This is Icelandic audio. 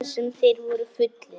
Hvað sem þeir voru fullir.